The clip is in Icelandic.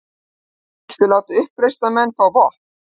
Vilja láta uppreisnarmenn fá vopn